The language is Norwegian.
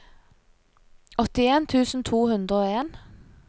åttien tusen to hundre og en